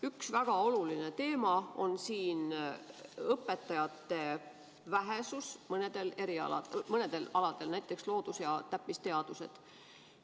Üks väga oluline teema on õpetajate vähesus mõnedel aladel, näiteks loodus- ja täppisteadustes.